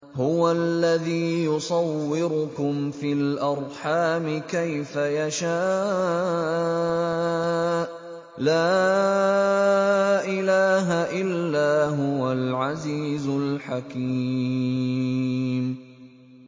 هُوَ الَّذِي يُصَوِّرُكُمْ فِي الْأَرْحَامِ كَيْفَ يَشَاءُ ۚ لَا إِلَٰهَ إِلَّا هُوَ الْعَزِيزُ الْحَكِيمُ